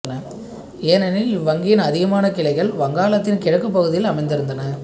ஏனெனில் இவ்வங்கியின் அதிகமான கிளைகள் வங்காளத்தின் கிழக்கு பகுதியில் அமைந்திருந்தன